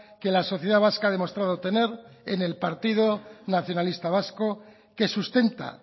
que la sociedad vasca ha demostrado tener en el partido nacionalista vasco que sustenta